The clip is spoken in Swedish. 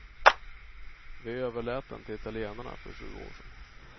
Vi överlät den till italienarna för sju år sedan.